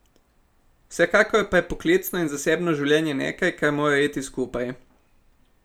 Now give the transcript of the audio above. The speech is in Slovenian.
Vsekakor pa je poklicno in zasebno življenje nekaj, kar mora iti skupaj.